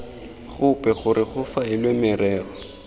gope gore go faelwe merero